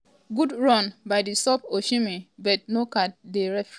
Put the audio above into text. good run by di sub osihmen but no card by di referee afta dem fall am down.